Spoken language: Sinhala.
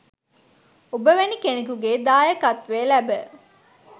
ඔබ වැනි කෙනෙකුගේ දායකත්වය ලැබ